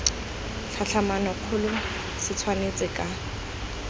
tlhatlhamano kgolo se tshwanetse ka